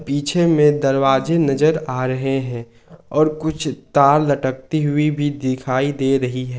पीछे में दरवाजे नजर आ रहे हैं और कुछ तार लटकती हुई भी दिखाई दे रही है।